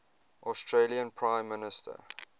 australian prime minister